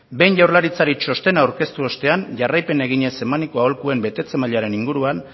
behin jaurlaritzari txostena aurkeztu ostean jarraipena eginez emaniko aholkuen betetze mailaren inguruan